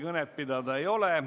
Kõnepidamise soovi ei ole.